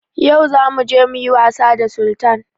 Yau za muje muyi was da Sultan